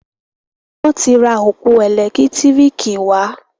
Wón tí rà ọpọ elekitiriki wá.